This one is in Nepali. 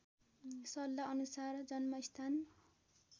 सल्लाह अनुसार जन्मस्थान